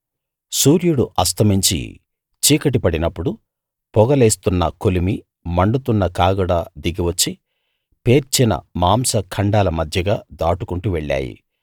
సూర్యుడు అస్తమించి చీకటి పడినప్పుడు పొగ లేస్తున్న కొలిమి మండుతున్న కాగడా దిగివచ్చి పేర్చిన మాంస ఖండాల మధ్యగా దాటుకుంటూ వెళ్ళాయి